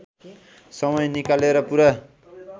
समय निकालेर पूरा